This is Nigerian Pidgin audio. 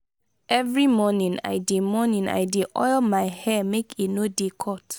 every morning i dey morning i dey oil my hair make e no dey cut.